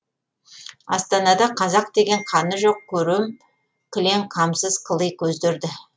астанада қазақ деген қаны жоқ көрем кілең қамсыз қыли көздерді